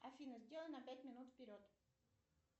афина сделай на пять минут вперед